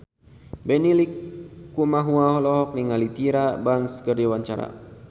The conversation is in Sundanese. Benny Likumahua olohok ningali Tyra Banks keur diwawancara